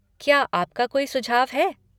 क्या आपका कोई सुझाव है?